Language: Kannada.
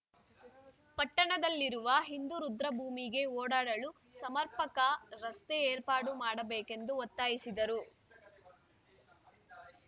ಪಟ್ಟಣದಲ್ಲಿರುವ ಹಿಂದೂ ರುದ್ರಭೂಮಿಗೆ ಓಡಾಡಲು ಸಮರ್ಪಕ ರಸ್ತೆ ಏರ್ಪಾಡು ಮಾಡಬೇಕೆಂದು ಒತ್ತಾಯಿಸಿದರು